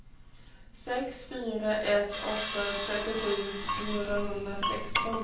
sex fyra ett åtta trettiosju fyrahundrasexton